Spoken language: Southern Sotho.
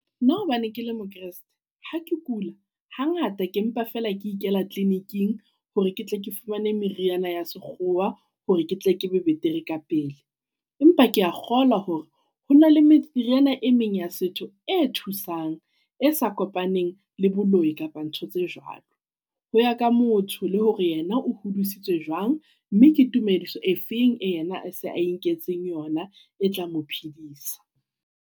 Nna hobane kele mokreste ha ke kula ha ngata ke mpa feela ke ikela kliniking hore ke tle ke fumane meriana ya sekgowa hore ke tle ke be betere ka pele. Empa kea kgolwa hore ho na le meriana e meng ya setho e thusang e sa kopaneng le boloi, kapa ntho tse jwalo. Ho ya ka motho le hore yena o hodisitswe jwang, mme ke tumediso e feng e yena se a e nketseng yona e tla mophedisa.